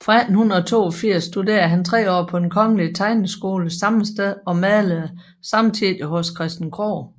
Fra 1882 studerede han 3 år på den kongelige tegneskole sammesteds og malede samtidig hos Christian Krohg